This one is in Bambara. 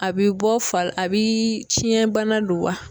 A bɛ bɔ fa a biii fiɲɛ bana don wa?